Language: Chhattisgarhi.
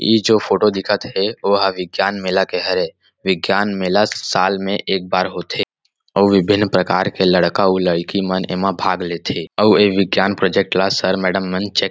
इ जो फोटो दिखत हे वो ह विज्ञान मेला के हरे विज्ञान मेला साल में एक बार होथे अउ विभिन प्रकार के लड़का उ लड़की मन एमा भाग लेथे अउ ये विज्ञान प्रोजेक्ट ला सर मैडम मन चेक --